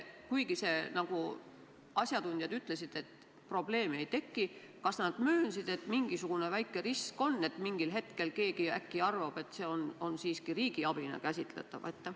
Kuigi asjatundjad ütlesid, et probleemi ei teki, kas nad möönsid, et mingisugune väike risk on, et mingil hetkel keegi äkki arvab, et see on siiski riigiabina käsitatav?